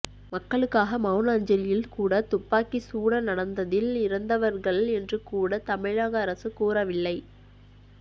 மக்களுக்காக மெளன அஞ்சலியில் கூட துப்பாக்கி சூட நடந்த்த்தில் இறந்தவர்கள் என்று கூட தமிழக் அரசு கூறவில்லை